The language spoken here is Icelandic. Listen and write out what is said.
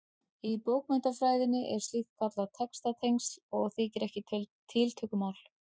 Í bókmenntafræðinni er slíkt kallað textatengsl og þykir ekki tiltökumál.